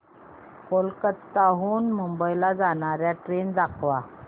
कोलकाता हून मुंबई ला जाणार्या ट्रेन दाखवा